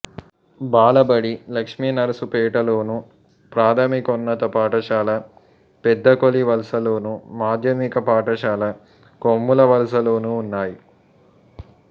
బాలబడి లక్ష్మీనర్సుపేటలోను ప్రాథమికోన్నత పాఠశాల పెద్దకొల్లివలసలోను మాధ్యమిక పాఠశాల కొమ్ములవలసలోనూ ఉన్నాయి